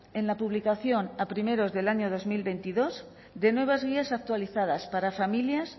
en la publicación a primeros del año dos mil veintidós de nuevas guías actualizadas para familias